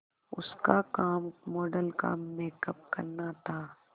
उसका काम मॉडल का मेकअप करना था